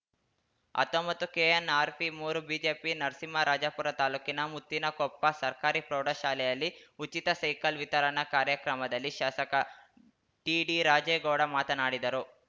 ಹತ್ತೊಂಬತ್ತುಕೆಎನ್‌ಆರ್‌ಪಿಮೂರುಜೆಪಿಜಿ ನರಸಿಂಹರಾಜಪುರ ತಾಲೂಕಿನ ಮುತ್ತಿನಕೊಪ್ಪ ಸರ್ಕಾರಿ ಪ್ರೌಢಶಾಲೆಯಲ್ಲಿ ಉಚಿತ ಸೈಕಲ್‌ ವಿತರಣಾ ಕಾರ್ಯಕ್ರಮದಲ್ಲಿ ಶಾಸಕ ಟಿಡಿರಾಜೇಗೌಡ ಮಾತನಾಡಿದರು